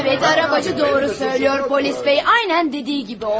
Bəli, arabacı doğru söyləyir, polis bəy, aynən dediyi kimi oldu.